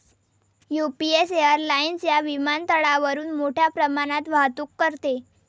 UPS airlines या विमानतळावरून मोठ्या प्रमाणात वाहतूक करते.